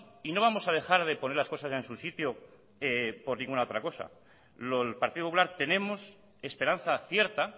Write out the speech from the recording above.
y no vamos a dejar de poner las cosas en su sitio por ninguna otra cosa en el partido popular tenemos esperanza cierta